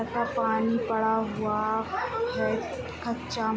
लगता है पानी पड़ा हुआ है कच्चा --